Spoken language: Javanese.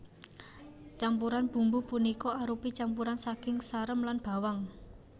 Campuran bumbu punika arupi campuran saking sarem lan bawang